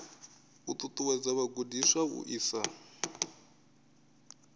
u ṱuṱuwedza vhagudiswa u isa